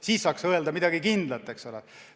Siis saaks öelda midagi kindlat, eks ole.